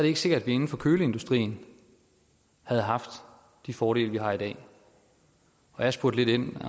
ikke sikkert at vi inden for køleindustrien havde haft de fordele vi har i dag jeg spurgte lidt ind